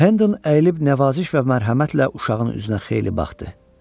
Hə ayılıb nəvaziş və mərhəmətlə uşağın üzünə xeyli baxdı.